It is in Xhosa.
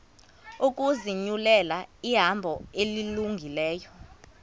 ukuzinyulela ihambo elungileyo